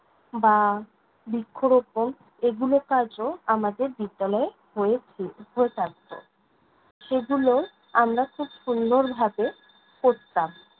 বা বৃক্ষরোপণ এগুলো কাজও আমাকে বিদ্যালয়ে হয়েছে হয়ে থাকত। সেগুলোও আমরা খুব সুন্দরভাবে করতাম।